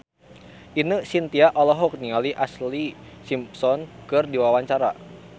Ine Shintya olohok ningali Ashlee Simpson keur diwawancara